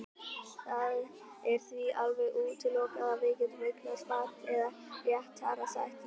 Það er því alveg útilokað að við getum eignast barn eða réttara sagt ég.